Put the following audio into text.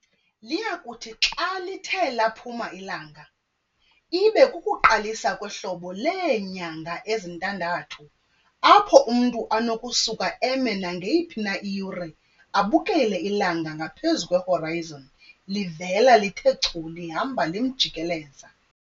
Liyakuthi xa lithe laphuma ilanga, ibe kukuqalisa kwehlobo leenyanga ezintandathu apho umntu anokusuka eme nangeyiphi na iyure abukele ilanga ngaphezu kwe-"horizon" livela lithe chu lihamba limjikeleza.